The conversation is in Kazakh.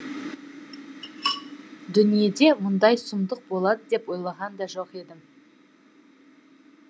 дүниеде мұндай сұмдық болады деп ойлаған да жоқ едім